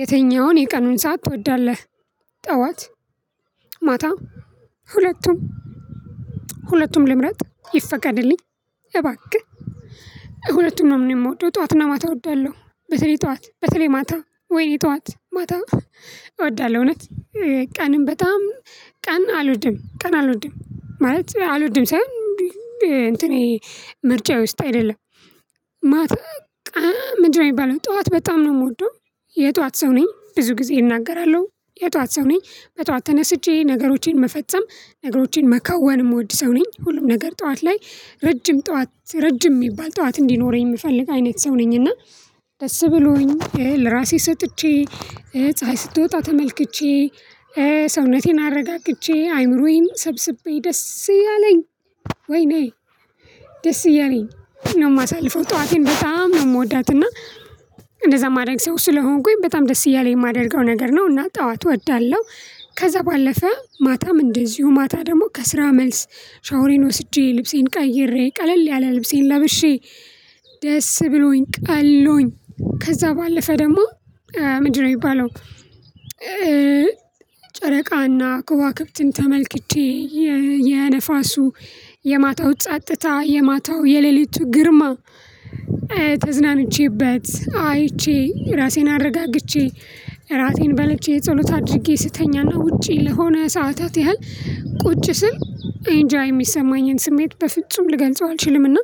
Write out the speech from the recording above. የትኛውን የቀኑን ሰዓት ትወዳለህ? ጠዋት ማታ ሁለቱም ሁለቱም ልምረጥ ይፈቀድልኝ እባክህ። ሁለቱም ነው የምወደው ጠዋትና ማታ እወዳለሁ። በተለይ ጠዋት በተለይ ማታ ወይ እኔ ጠዋት ማታ እወዳለሁ። እውነት ቀንም በጣም ቀን አልወድም ቀን አልወድም ማለት አልወድም ሳይሆን እንትኔ ምርጫዬ ውስጥ አይደለም። ማተ ቃ ምንድነው የሚባለው ጠዋት በጣም ነው የምወደው። የጠዋት ሰው ነኝ ብዙ ጊዜ እናገራለሁ የጠዋት ሰው ነኝ። በጠዋት ተነስቼ ነገሮቼን መፈጸም ነገሮቼን መከወን የምወድ ሰው ነኝ ሁሉም ነገር ጠዋት ላይ ረጅም ጠዋት ረጅም የሚባል ጠዋት እንዲኖረኝ የምፈልግ አይነት ሰው ነኝ። እና ደስ ብሎኝ ለራሴ ሰጥቼ ፀሀይ ስትወጣ ተመልክቼ ሰውነቴን አረጋግቸ አእምሮዬን ሰብስቤ ደስ እያለኝ ወይኔ ደስ እያለኝ ነው የማሳልፈው። ጠዋቴን በጣም ነው የምወዳት። እና እንደዛ ማድረግ ሰው ስለሆንኩኝ በጣም ደስ እያለኝ የማደርገው ነገር ነው እና ጠዋት እወዳለሁ። ከዛ ባለፈ ማታም እንደዚሁ ማታ ደግሞ ከስራ መልስ ሻወሬን ወስጄ ልብሴን ቀይሬ ቀለል ያለ ልብሴን ለብሼ ደስ ብሎኝ ቀሎኝ ከዛ ባለፈ ደግሞ። ምንድነው የሚባለው? ጨረቃና ከዋክብትን ተመልክቼ የነፋሱ የማታው ጸጥታ የማታው የሌሊቱ ግርማ ተዝናንቼበት አይቼ እራሴን አረጋግቼ። እራቴን በልቼ ጸሎት አድርጌ ስተኛና ውጪ ለሆነ ሰዓታት ያህል ቁጭ ስል እንጃ የሚሰማኝን ስሜት በፍጹም ልገልጸው አልችልምና።